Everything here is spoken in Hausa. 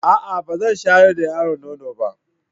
A'a! Ba zan shayar da yaron nono ba.